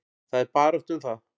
Það er barátta um það.